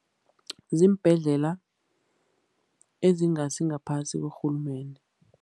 Ziimbhedlela ezingasi ngaphasi korhulumende.